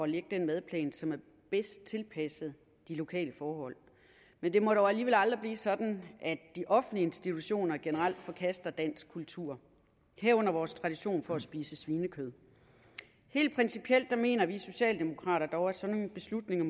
lægge den madplan som er bedst tilpasset de lokale forhold men det må dog alligevel aldrig blive sådan at de offentlige institutioner generelt forkaster dansk kultur herunder vores tradition for at spise svinekød helt principielt mener vi socialdemokrater dog at sådan nogle beslutninger